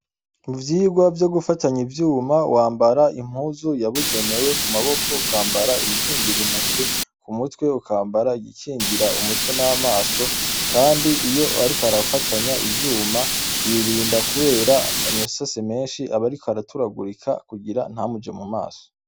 Muvyogwa vyo gufatanya ivyuma wambara impuzu yabugenewe kumaboko ukambara ibikingira intoke, k'umutwe ukambara igikingira umutwe n'amaso. Kandi iyo ariko arafatanya ivyuma yirinda kubera amasase meshi aba ariko arataragurika kugira ntamuje mumaso.